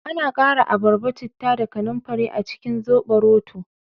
Ana kara abarba, citta da kananfari a cikin zoɓoroto